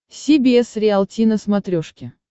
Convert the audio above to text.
си би эс риалти на смотрешке